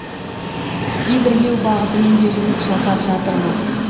гидрлеу бағытымен де жұмыс жасап жатырмыз